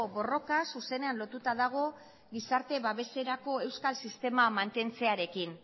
borroka zuzenean lotuta dago gizarte babeserako euskal sistema mantentzearekin